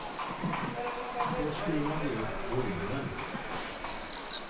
Då skruvar vi upp volymen!